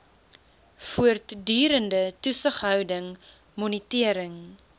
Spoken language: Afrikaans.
voortdurende toesighouding monitering